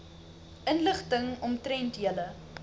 inligting omtrent julle